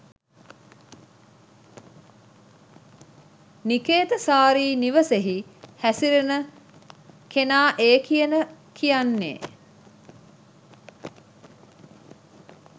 නිකේතසාරී නිවසෙහි හැසිරෙන කෙනඑ කියන කියන්නේ